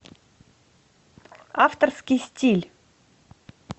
авторский стиль